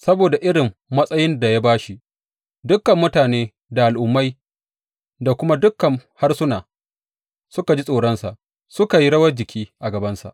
Saboda irin matsayin da ya ba shi, dukan mutane da al’ummai da kuma dukan harsuna suka ji tsoronsa suka yi rawar jiki a gabansa.